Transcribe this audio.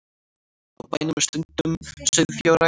Á bænum er stunduð sauðfjárrækt